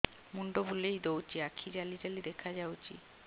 ମୁଣ୍ଡ ବୁଲେଇ ଦଉଚି ଆଖି ଜାଲି ଜାଲି ଦେଖା ଯାଉଚି